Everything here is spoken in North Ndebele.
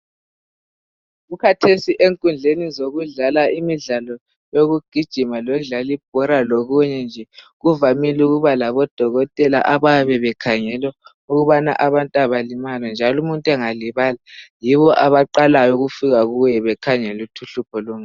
kukhathesi enkundleni zokudlala imidlalo yokugijima lokudlala ibhola lokunye nje kuvamile ukuba labodokotela abayabe bekhangela ukubana abantu abalimali njalo umuntu angalimala yibo abaqala ukufika bekhangela ukuthi uhlupho lungaba ngaphi